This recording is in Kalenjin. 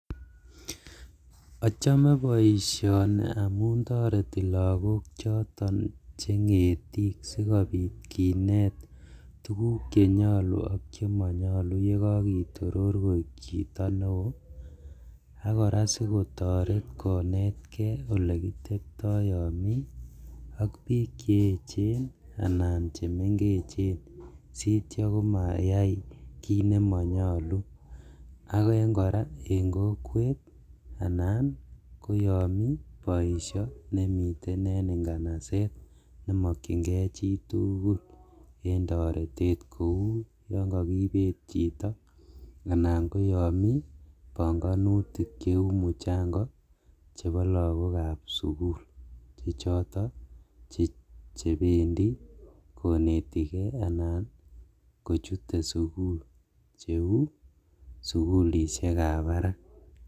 Achome poisioni amun toteroti lagook choton che ng'etiik sikopiit kinet tuguk chenyolu ak chemonyolu yegokitoroor koik chito newoo ak kora sikotoret konetge olekitepto yon mi ak piik cheechen anan chemengechen sityo ko mayai kit nemonyolu ak en kora en kokwet anan ko yon mi poisio nemiten en nganaset nemokyingei chitugul en toretet kou yon kagipet chito anan ko yon mi pongonutik cheu muchango chepo lagokap sugul chechoto chependi konetige anan kochute sugul cheu sugulisiekap parak.